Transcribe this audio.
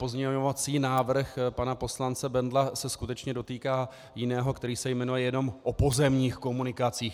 Pozměňovací návrh pana poslance Bendla se skutečně dotýká jiného, který se jmenuje jenom o pozemních komunikacích.